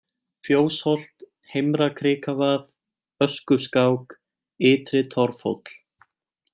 Fjósholt, Heimra-Krikavað, Öskuskák, Ytri-Torfhóll